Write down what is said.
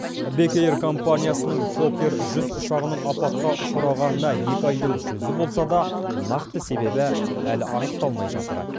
бек эйр компаниясының фокер жүз ұшағының апатқа ұшырағанына екі айдың жүзі болса да нақты себебі әлі анықталмай жатыр